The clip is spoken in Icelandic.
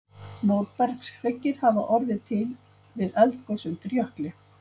Móbergshryggir hafa orðið til við eldgos undir jökli.